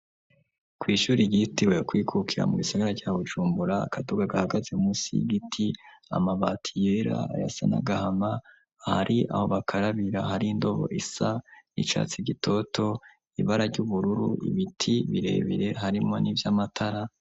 Kw'ishuri ryitiriwe kwikukira mu gisagara ca Bujumbura, akaduga gahagaze munsi y'igiti, amabati yera arasa n'agahama, ahari aho bakarabira hari indobo isa n'icatsi gitoto, ibara ry'ubururu, ibiti birebire harimwo n'ivy'amatara.